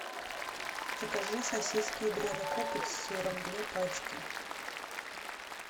закажи сосиски ядрена копоть с сыром две пачки